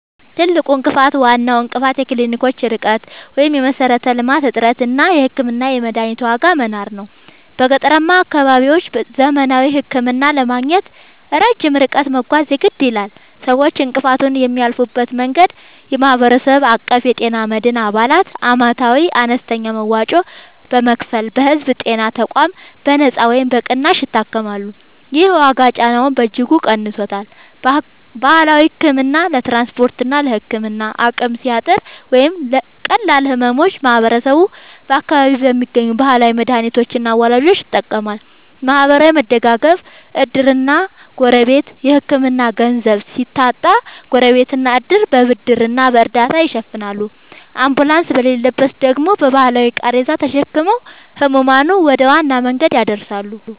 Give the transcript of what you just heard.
ትልቁ እንቅፋት፦ ዋናው እንቅፋት የክሊኒኮች ርቀት (የመሠረተ-ልማት እጥረት) እና የሕክምናና የመድኃኒት ዋጋ መናር ነው። በገጠራማ አካባቢዎች ዘመናዊ ሕክምና ለማግኘት ረጅም ርቀት መጓዝ የግድ ይላል። ሰዎች እንቅፋቱን የሚያልፉበት መንገድ፦ የማህበረሰብ አቀፍ የጤና መድን፦ አባላት ዓመታዊ አነስተኛ መዋጮ በመክፈል በሕዝብ ጤና ተቋማት በነጻ ወይም በቅናሽ ይታከማሉ። ይህ የዋጋ ጫናውን በእጅጉ ቀንሶታል። ባህላዊ ሕክምና፦ ለትራንስፖርትና ለሕክምና አቅም ሲያጥር ወይም ለቀላል ሕመሞች ማህበረሰቡ በአካባቢው በሚገኙ ባህላዊ መድኃኒቶችና አዋላጆች ይጠቀማል። ማህበራዊ መደጋገፍ (ዕድርና ጎረቤት)፦ የሕክምና ገንዘብ ሲታጣ ጎረቤትና ዕድር በብድርና በእርዳታ ይሸፍናሉ፤ አምቡላንስ በሌለበት ደግሞ በባህላዊ ቃሬዛ ተሸክመው ሕሙማንን ወደ ዋና መንገድ ያደርሳሉ።